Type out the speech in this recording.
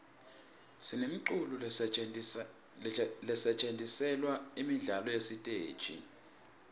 sinemiculo lesetjentiselwa imidlalo yesiteji